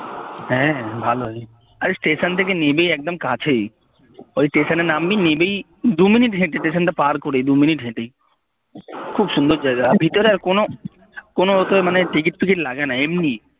হ্যাঁ ভালোই আরে স্টেশন থেকে নেমেই একদম কাছেই ওই স্টেশনে নামবি নেমেই দু মিনিট হেঁটে স্টেশনটা পার করেই দু মিনিট হেঁটে খুব সুন্দর জায়গা আর ভিতরে আর কোনো কোনো তোর মানে টিকিট ঠিকিট লাগেনা এমনি